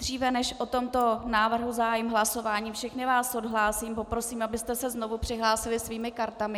Dříve než o tomto návrhu zahájím hlasování, všechny vás odhlásím, poprosím, abyste se znovu přihlásili svými kartami.